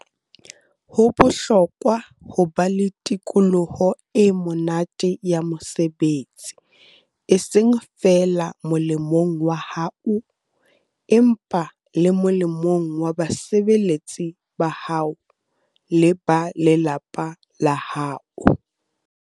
Ho bohlokwa ho ba le tikoloho e monate ya mosebetsi, eseng feela molemong wa hao, empa le molemong wa basebeletsi ba hao le ba lelapa la hao.